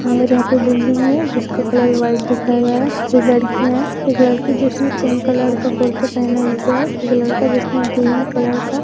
और यहाँ पे बिल्डिंग है जिसका कलर वाइट दिखाया गया है कुछ लड़कियों है एक लड़की जिसने पिंक कलर का कुर्ता पहना हुआ है एक लड़का जिसने ग्रीन कलर का--